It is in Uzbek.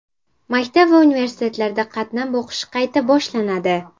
Maktab va universitetlarda qatnab o‘qish qayta boshlanadi.